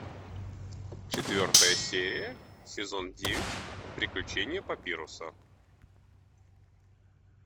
четвертая серия сезон девять приключения папируса